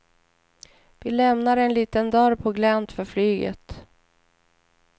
Vi lämnar en liten dörr på glänt för flyget.